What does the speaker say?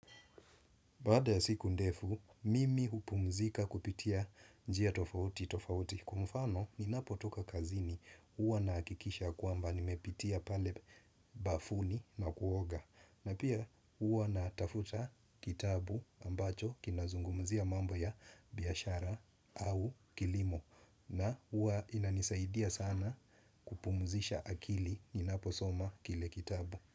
Baada ya siku ndefu, mimi hupumzika kupitia njia tofauti tofauti kwa mfano ninapo toka kazini huwa nahakikisha kwamba nimepitia pale bafuni na kuoga. Na pia huwa natafuta kitabu ambacho kinazungumzia mambo ya biashara au kilimo na huwa inanisaidia sana kupumzisha akili ninapo soma kile kitabu.